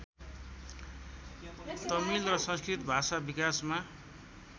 तमिल र संस्कृत भाषा विकासमा